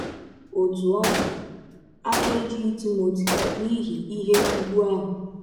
Ọtụ ọ dị, afọ ejụghị Timọti n’ihi ihe ụgwụ ahụ.